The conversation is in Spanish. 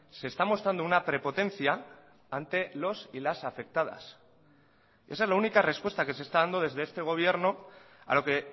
se está mostrando una prepotencia ante los y las afectadas esa es la única respuesta que se está dando desde este gobierno a lo que